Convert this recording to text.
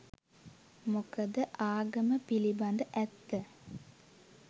මොකද ආගම පිළිබඳ ඇත්ත